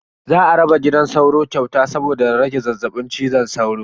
Za a raba gidan sauro kyauta saboda rage zazzabin cizon sauro.